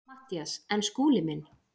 MATTHÍAS: En Skúli minn.